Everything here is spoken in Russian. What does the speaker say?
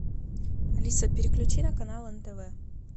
алиса переключи на канал нтв